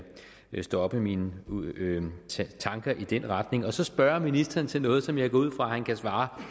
stoppe mine tanker i den retning og så spørge ministeren til noget som jeg går ud fra at han kan svare